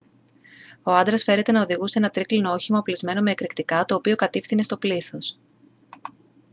ο άντρας φέρεται να οδηγούσε ένα τρίκυκλο όχημα οπλισμένο με εκρηκτικά το οποίο κατηύθυνε στο πλήθος